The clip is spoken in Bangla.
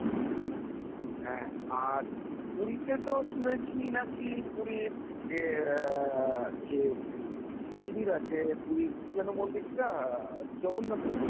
ও হ্যাঁ আর পুরীতে তো শুনেছি নাকি পুরীর অ্যা যে মন্দির আছে, পুরীর কি যেন মন্দিরটা জগন্নাথের মন্দির